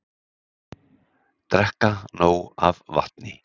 Drekka nóg af vatni